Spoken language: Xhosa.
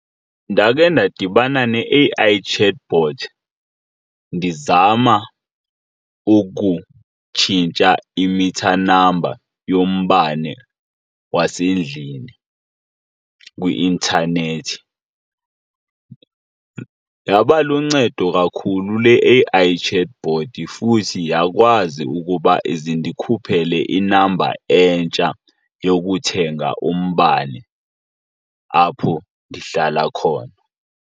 Ndakhe ndadibana ne-A_I chatbot ndizama ukutshintsha i-meter number yombane wasendlini kwi-intanethi. Yaba luncedo kakhulu le A_I chatbot, futhi yakwazi ukuba ize indikhuphele i-number entsha yokuthenga umbane apho ndihlala khona.